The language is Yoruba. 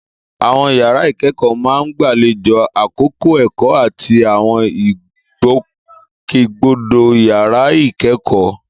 Àwọn yàrá ìkẹ́kọ̀ọ́ máa ń gbàlejò àkókò ẹ̀kọ́ àti àwọn ìgbòkègbodò yàrá ìkẹ́kọ̀ọ́.